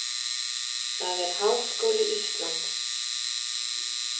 Það er Háskóli Íslands.